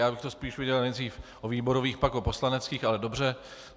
Já bych to spíš viděl nejdřív o výborových, pak o poslaneckých, ale dobře.